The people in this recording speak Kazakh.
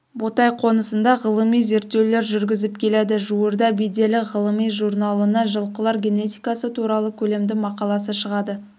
ботай қонысында ғылыми зерттеулер жүргізіп келеді жуырда беделі ғылыми журналына жылқылар генетикасытуралы көлемді мақаласы шығады